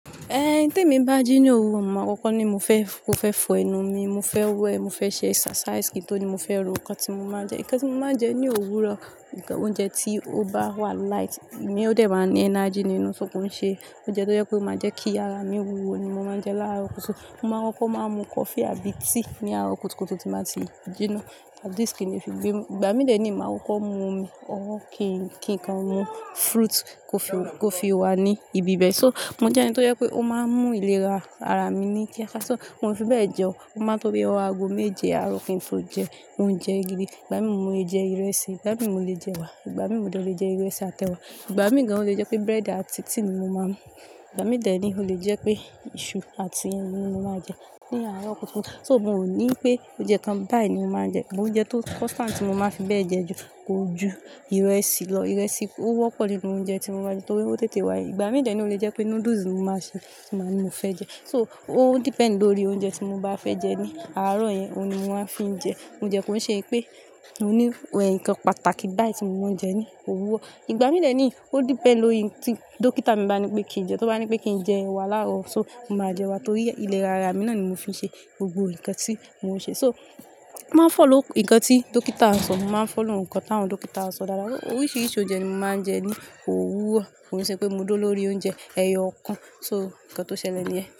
Eh, tí èmi bá ji ni òwúrọ̀, màá kọkọ̀ ni mo fẹ́ mó fẹ́ fọ ẹnu mi. Mo fẹ́ wẹ̀, mo fẹ́ ṣe exercise, kí n tó ní mo fẹ́ ro nǹkan tí mo máa jẹ. Ǹnkan tí mo máa n jẹ ní òwúrọ̀, ǹnkan oúnjẹ tí ó bá wà light, mi ó dẹ̀ máa ní energy nínú ṣó ko n ṣe oúnjẹ tó jẹ́ pé ó máa jẹ́ kí ara mi wúwo ni mo máa n jẹ láàrọ̀ kùtùkùtù. Mo máa n kokó máa mu coffee àbí tea ní àárọ̀ kùtùkùtù ti n baa ti jinná. At least kí n lè fi gbénu. Igbà mí dẹ̀ ní màá kokó mu omi ọwọ́ kí n kan mu fruit kó fi, kó fi wà ní ibi bẹ. So, mo jẹ́ ẹnì tó jẹ́ pé ó máa ń mú ìlera ara mi ní kíákíá. So, mo n fi bẹ jẹun. O máa n tó bí ọwọ́ aago méje àárọ̀ kí n to jẹ oúnjẹ gidi. Ìgbà mí mo lè jẹ ìrẹsì, ìgbà mí mo lè jẹ ẹwà, ìgbà mí mo de lè jẹ ìrẹsì àti ẹwà. Ìgbà mí gan an ò lé jẹ pé bread àti tea ni mo máa mú. Ìgbà mí dẹ̀ ní ó lè jẹ́ pé iṣu àti ẹyin ni mo máa jẹ ní àárọ̀ kùtùkùtù. So, mo ní pé oúnjẹ kan báyìí ni mo máa n jẹ. Amo oúnjẹ tó ti constant tí mo máa n fi bẹ jẹun ju ko ju ìrẹsì lọ. Ìrẹsì ó wọ́pọ̀ nínú oúnjẹ tí mo máa n jẹ torí ó tètè wà. Ìgbà mí de ni ó lè jẹ́ pé noodles ni mo máa ṣe tí mo má ní mo fẹ́ jẹ. So, ó depend lórí oúnjẹ tí mo bá fẹ́ jẹ ní àárọ̀ yẹn, òhun ni mo máa fi n jẹ. Kode kó n ṣe wipé mo ni ǹnkan pàtàkì báyìí tí mo máa ń jẹ ní òwúrọ̀. Ìgbà mí dẹ̀ ní ó depend lórí n tí dókítà mi bá ní pé kí n jẹ. Tó bá ní pé kí n jẹ ẹwà láàrọ̀, so mo máa jẹ ẹwà torí ìlera ara mi náà ni mo fi n ṣe gbogbo ǹnkan tí mo ń ṣe. So, màá follow ǹnkan tí dókítà ń sọ. Màá n follow ǹnkan táwọn dókítà ń sọ dáadáa. Oríṣiríṣi oúnjẹ ni mo máa ń jẹ ní òwúrọ̀. Kò n ṣe pé mo dúró lórí oúnjẹ ẹyọ kan. So, ǹnkan tó ṣẹlẹ̀ nìyẹn.